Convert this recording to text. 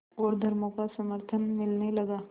और धर्मों का समर्थन मिलने लगा